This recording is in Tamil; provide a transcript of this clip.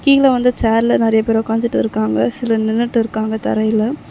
கீழ வந்து சேர்ல நறைய பேர் உக்காந்துட்டு இருக்காங்க. சிலர் நின்னுட்டு இருக்காங்க தரையில.